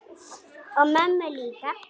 Og mömmu líka.